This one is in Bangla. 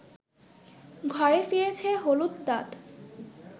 ঘরে ফিরেছে হলুদ দাঁত